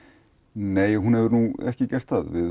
nei hún hefur ekki gert það við